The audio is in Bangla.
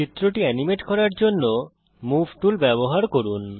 চিত্রটি এনিমেট করার জন্যে মুভ টুল ব্যবহার করুন